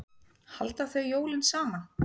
Halda þau jólin saman?